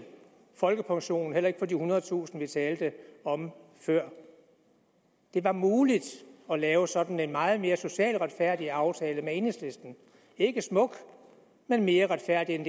folkepensionen heller ikke på de ethundredetusind vi talte om før det var muligt at lave sådan en meget mere socialt retfærdig aftale med enhedslisten ikke smuk men mere retfærdig end